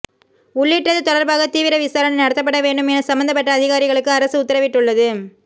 உள்ளிட்டது தொடர்பாக தீவிர விசாரணை நடத்தப்பட வேண்டும் என சம்பந்தப்பட்ட அதிகாரிகளுக்கு அரசு உத்தரவிட்டுள்ளது